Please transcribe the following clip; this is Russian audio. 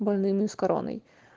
больными с короной